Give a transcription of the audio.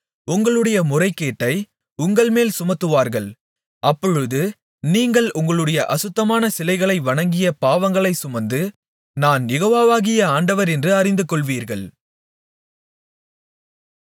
உங்களுடைய முறைகேட்டை உங்கள்மேல் சுமத்துவார்கள் அப்பொழுது நீங்கள் உங்களுடைய அசுத்தமான சிலைகளை வணங்கிய பாவங்களைச் சுமந்து நான் யெகோவாகிய ஆண்டவர் என்று அறிந்துகொள்வீர்கள்